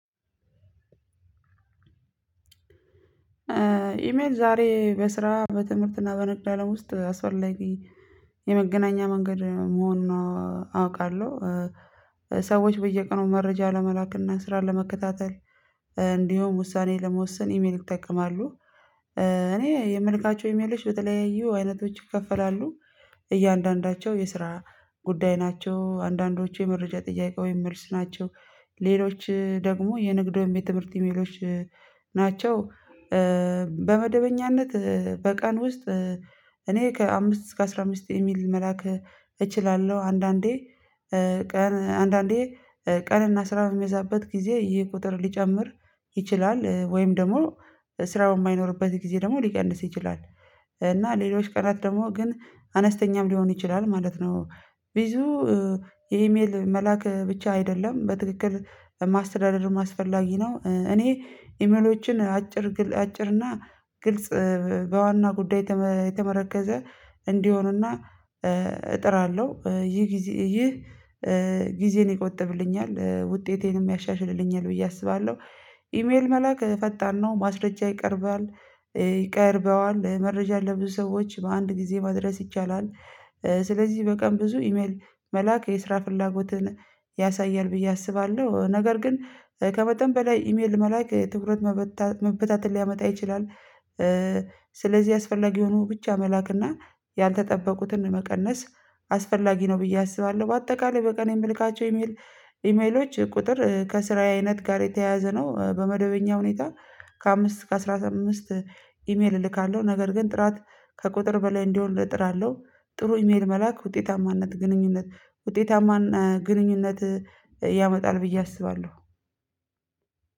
ኢሜል ዛሬ በስራ በትምህርትና በንግድ አለም ውስጥ አስፈላጊ የመገናኛ መንገድ መሆኑን አውቃለሁ። ሰዎች በየቀኑ መረጃ ለመላክና ስራ ለመከታተል እንዲሁም ውሳኔ ለመወሰን ኢሜል ይጠቀማሉ። እኔ የምልካቸው ኢሜሎች በተለያዩ አይነቶች ይከፈላሉ። እያንዳንዳቸው የስራ ጉዳይ ናቸው። አንዳንዶቹ የመረጃ ጥያቄ ወይም መልስ ናቸው። ሌሎች ደግሞ የንግድ ወይም የትምህርት ኢሜሎች ናቸው። በመደበኛነት በቀን ውስጥ እኔ ከአምስት እስከ አስራ አምስት ኢሜል መላክ እችላለሁ። አንዳንዴ አንዳንዴ ቀንና ስራ በሚበዛበት ጊዜ ይህ ቁጥር ሊጨምር ይችላል ወይም ደግሞ ስራ በማይኖርበት ጊዜ ደግሞ ሊቀንስ ይችላል። እና ሌሎች ቀናት ደግሞ ግን አነስተኛም ሊሆን ይችላል ማለት ነው። ብዙ የኢሜል መላክ ብቻ አይደለም በትክክል ማስተዳደር አስፈላጊ ነው። እኔ ኢሜሎችን አጭር አጭር እና ግልጽ በዋና ጉዳይ የተመረኮዘ እንዲሆኑና እጥራለሁ። ይህ ጊዜ ይህ ጊዜን ይቆጥብልኛል ውጤቴንም ያሻሽልልኛል ብዬ አስባለሁ። ኢሜል መላክ ፈጣን ነው ማስረጃ ይቀርባል። ይቀርበዋል መረጃ ለብዙ ሰዎች በአንድ ጊዜ ማድረስ ይቻላል። ስለዚህ በቀን ብዙ ኢሜል መላክ የስራ ፍላጎትን ያሳያል ብዬ አስባለሁ። ነገር ግን ከመጠን በላይ ኢሜል መላክ ትኩረት መበታተን ሊያመጣ ይችላል። ስለዚህ አስፈላጊ የሆኑ ብቻ መላክና ያልተጠበቁትን መቀነስ አስፈላጊ ነው ብዬ አስባለሁ። በአጠቃላይ በቀን የምልካቸው ኢሜል ኢሜሎች ቁጥር ከስራዬ አይነት ጋር የተያያዘ ነው። በመደበኛ ሁኔታ ከአምስት ከአስራ አምስት ኢሜል እልካለሁ። ነገር ግን ጥራት ከቁጥር በላይ እንዲሆን እጥራለሁ። ጥሩ ኢሜል መላክ ውጤታማነት ግንኙነት ውጤታማን ግንኙነት ያመጣል ብዬ አስባለሁ።